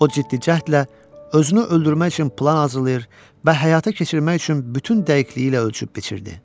O ciddi cəhdlə özünü öldürmək üçün plan hazırlayır və həyata keçirmək üçün bütün dəqiqliyi ilə ölçüb-biçirdi.